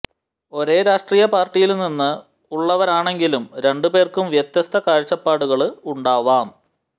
ഒരേ രാഷ്ട്രീയ പാര്ട്ടിയില്നിന്ന് ഉള്ളവരാണെങ്കിലും രണ്ടു പേര്ക്കും വ്യത്യസ്ത കാഴ്ചപ്പാടുകള് ഉണ്ടാവാം